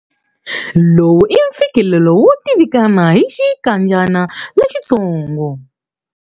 Lowu i mfikelelo wo tivikana hi xinkadyana lexitsongo.